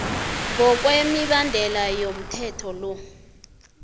ngokwemibandela yomthetho lo